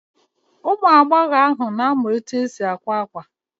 Ụmụagbọghọ ahụ na-amụ etu esi akwa akwa